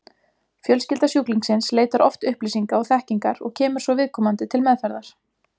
Fjölskylda sjúklingsins leitar oft upplýsinga og þekkingar og kemur svo viðkomandi til meðferðar.